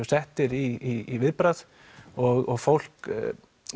settir í viðbragð og fólk